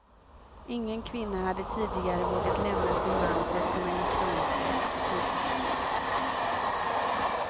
Ingen kvinna hade tidigare vågat lämna sin man för att kunna gifta om sig. punkt